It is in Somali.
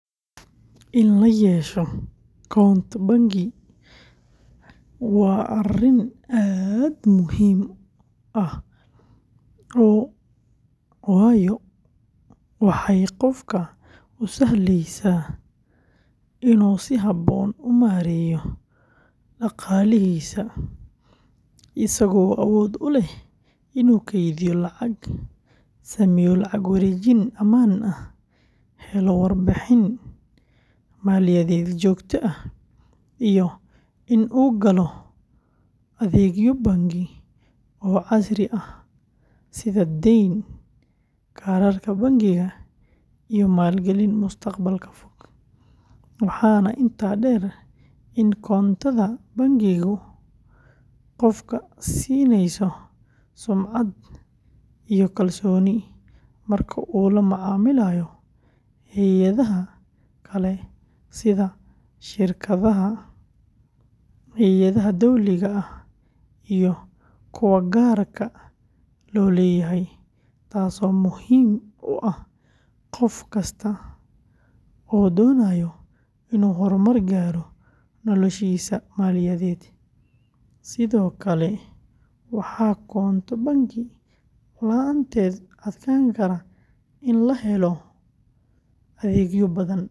In la yeesho koonto bangi waa arrin aad u muhiim ah waayo waxay qofka u sahlaysaa inuu si habboon u maareeyo dhaqaalihiisa, isagoo awood u leh inuu kaydiyo lacag, sameeyo lacag wareejin ammaan ah, helo warbixin maaliyadeed joogto ah, iyo in uu galo adeegyo bangi oo casri ah sida deyn, kaararka bangiga, iyo maalgelin mustaqbalka fog, waxaana intaa dheer in koontada bangigu qofka siinayso sumcad iyo kalsooni marka uu la macaamilayo hay’adaha kale sida shirkadaha, hay’adaha dowliga ah, iyo kuwa gaarka loo leeyahay, taasoo muhiim u ah qof kasta oo doonaya inuu horumar gaaro noloshiisa maaliyadeed, sidoo kale waxaa koonto bangi la’aanteed adkaan karta in la helo adeegyo badan.